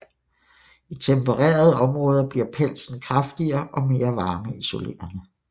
I tempererede områder bliver pelsen kraftigere og mere varmeisolerende